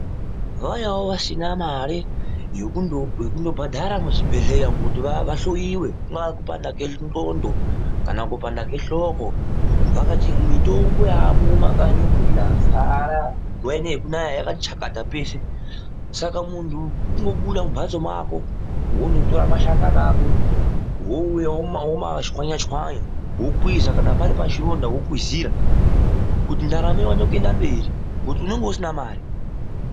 Vaya vasinawo mare yekundo bhandhara muzvibhehleya umwo kuti vahloyiwe kunga kupanda kwenxondo ,kanakupanda kwehloko mitombo yaamo mumakanyi umwo, yazara nguwa ino yekunaya yakati chakata peshe .Saka muntu kundobuda mumhatso mwako wonotora mashakani ako ,wouya womachwanya-chwanya, wokwiza kana pari pachironda wokwizira, kuti ndaramo ione kuenda mberi ngekuti unonga usina mare.